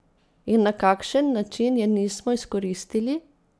In na kakšen način je nismo izkoristili?